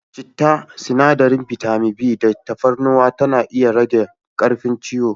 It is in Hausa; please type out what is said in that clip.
Citta, sinadarin bitamin b da tafarnuwa na iya rage karfin ciwon